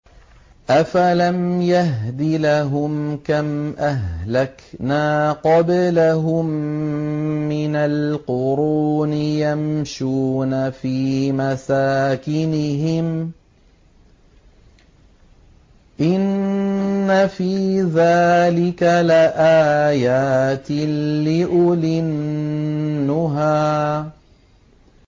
أَفَلَمْ يَهْدِ لَهُمْ كَمْ أَهْلَكْنَا قَبْلَهُم مِّنَ الْقُرُونِ يَمْشُونَ فِي مَسَاكِنِهِمْ ۗ إِنَّ فِي ذَٰلِكَ لَآيَاتٍ لِّأُولِي النُّهَىٰ